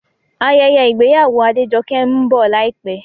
Ayẹyẹ ìgbéyàwó Adejoke ń bọ̀ láìpẹ́